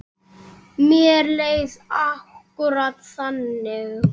Mér leið akkúrat þannig.